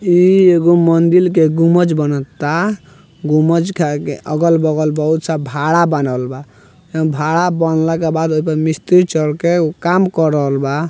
यह एक मंदिर के गुम्बज बनल ता । गुम्बज के आगे अगल-बगल बहुत सा भाड़ा बनल बा । भाड़ा बोलने के भदा मिस्त्री चढ़ के उ काम कर रहल बा।